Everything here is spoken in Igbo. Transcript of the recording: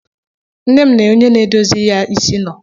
Nne m na onye na-edozi ya isi nọ.